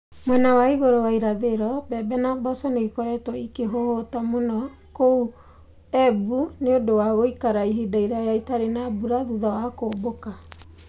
Mwena wa igũrũ wa irathĩro, mbembe na mboco nĩ ikoretwo ikĩhũhũta mũno kũu Embu nĩ ũndũ wa gũikara ihinda iraya itarĩ na mbura thutha wa kũmbũka.